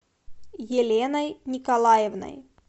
еленой николаевной